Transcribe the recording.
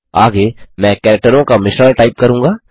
आगे मैं कैरेक्टरों का मिश्रण टाइप करूँगा